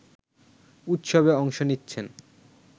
উৎসবে অংশ নিচ্ছেন